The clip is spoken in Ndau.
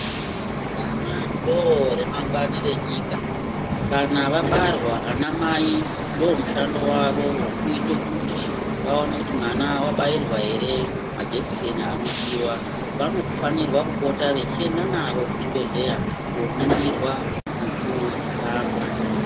Vana ndoremangwani renyika, kana vabarwa ana mai ndomushando wavo wokuita kuti vaone kuti mwana wabairwa ere majekiseni anodiwa. Vanofanirwa kupota vechienda navo kuchibhedhleya koningirwa nokurapwa.